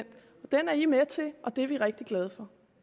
den er venstre med til og det er vi rigtig glade